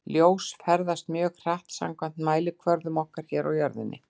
Ljós ferðast mjög hratt samkvæmt mælikvörðum okkar hér á jörðinni.